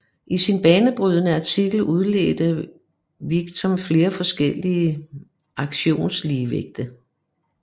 I sin banebrydende artikel udledte Vickrey flere forskellige auktionsligevægte